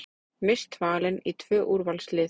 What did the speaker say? Mist valin í tvö úrvalslið